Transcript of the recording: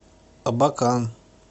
абакан